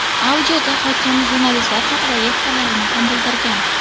Audioda hokim jurnalistlar haqidagi fikrlarini ham bildirgan.